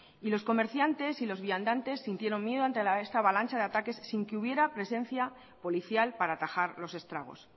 y los comerciantes y los viandantes sintieron miedo ante esta avalancha de ataques sin que hubiera presencia policial para atajar los estragos